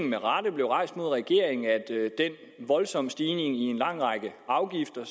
mod regeringen af at den voldsomme stigning på en lang række afgifter